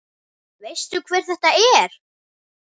Veistu hver þetta er?